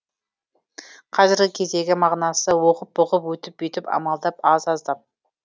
қазіргі кездегі мағынасы оғып бұғып өйтіп бүйтіп амалдап аз аздап